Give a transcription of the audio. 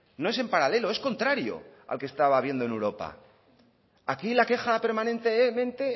no es en paralelo es contrario al que estaba habiendo en europa aquí la queja permanentemente